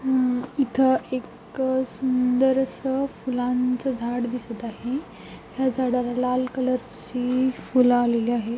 हम्म इथ एक सुंदर अस फुलांच झाड दिसत आहे ह्या झाडाला लाल कलर ची फुले आलेली आहे.